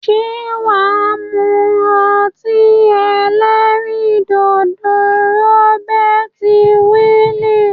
Se waa mu oti elerin dodo Robert Weil?